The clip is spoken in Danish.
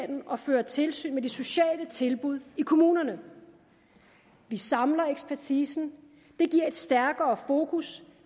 og føre tilsyn med de sociale tilbud i kommunerne vi samler ekspertisen det giver et stærkere fokus